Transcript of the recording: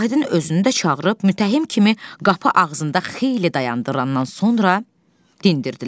Vahidin özünü də çağırıb mütəhhim kimi qapı ağzında xeyli dayandırandan sonra dindirdilər.